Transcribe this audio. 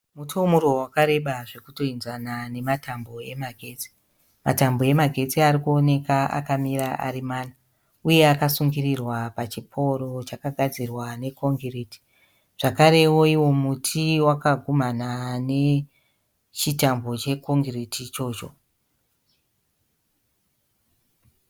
Muti wemuruva wakareba zvokutoenzana nematambo emagetsi. Matambo emagetsi ari kuoneka akamirira ari mana uye akasungirirwa pachipouro chakagadzirwa nekongireti. Zvakarewo iwo muti wakagumhana nechitambo chekongereti ichocho.